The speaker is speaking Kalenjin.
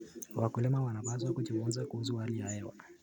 Wakulima wanapaswa kujifunza kuhusu hali ya hewa.